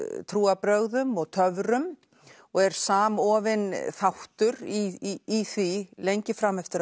trúarbrögðum og töfrum og er samofinn þáttur í því lengi fram eftir